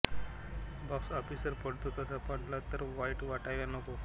box ऑफिसवर पडतो तसा पडला तर वाईट वाटायला नको